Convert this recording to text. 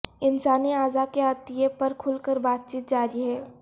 انسانی اعضا کے عطیے پر کھل کر بات چیت جاری ہے